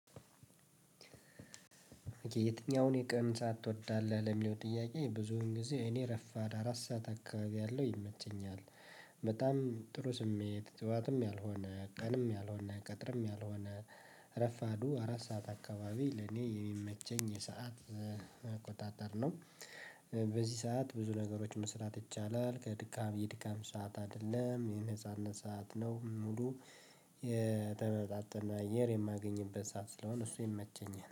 የትኛውን የቀን ሰዓት ትወዳለህ ለሚለው ጥያቄ ብዙን ጊዜ እኔ ረፋድ አራት ሰዓት አካባቢ ያለው ይመቸኛል በጣም ጥሩ ስሜት ጠዋትም ያልሆነ ቀንም ያልሆነ ቀትርም ያልሆነ ክረፋዱ አራት ሰዓት አካባቢ ለኔ የሚመቸኝ የሰዓት አቆጣጠር ነው። በዚህ ሰዓት ብዙ ነገሮች መስራት ይቻላል ከድካም የድካም ሰዓት አይደለም የሆነ የነፃነት ሰዓት ነው። ሙሉ የተመጣጠነ አየር የማገኝበት ሰዓት ስለሆነ እሱ ይመቸኛል